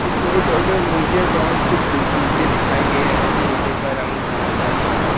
इस फोटो में मुझे बहुत से दो जूते दिखाई दे रहे हैं जूते का रंग हरा कलर का है।